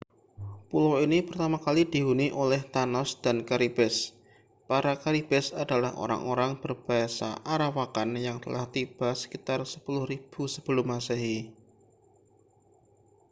pulau ini pertama kali dihuni oleh taã­nos dan caribes. para caribes adalah orang-orang berbahasa arawakan yang telah tiba sekitar 10.000 sm